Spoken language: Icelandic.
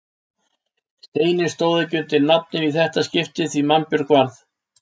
Steinninn stóð ekki undir nafni í þetta skipti því mannbjörg varð.